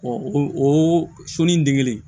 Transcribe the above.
o sun in degelen